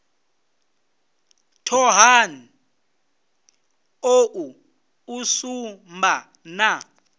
thohoyanḓ ou u sumba na